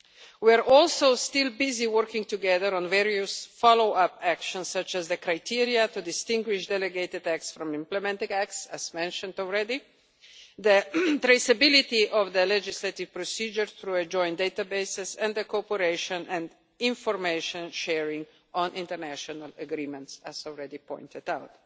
We are also still busy working together on various follow up actions such as the criteria to distinguish delegated acts from implementing acts, as mentioned already, the traceability of the legislative procedure through joined databases and the cooperation and information sharing on international agreements, as already pointed out.